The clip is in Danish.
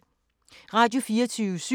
Radio24syv